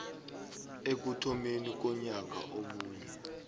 ekuthomeni konyaka omunye